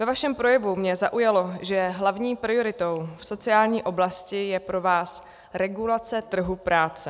Ve vašem projevu mě zaujalo, že hlavní prioritou v sociální oblasti je pro vás regulace trhu práce.